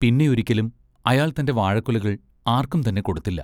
പിന്നെയൊരിക്കലും അയാൾ തൻ്റെ വാഴക്കുലകൾ ആർക്കുംതന്നെ കൊടുത്തില്ല.